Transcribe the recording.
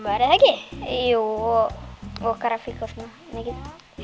er það ekki jú og og grafík og svona mikið